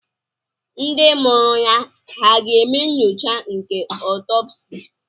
Ndị mụrụ ya hà ga-eme nyocha nke otopsi?